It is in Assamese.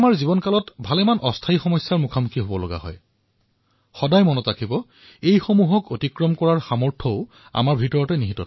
আমি আমাৰ জীৱনতো অস্থায়ী সমস্যাৰ সন্মুখীন হব পাৰো কিন্তু আমি সদায়েই মনত ৰাখিব লাগে এয়া লাভ কৰাৰ সামৰ্থ আমাৰ মাজত আছে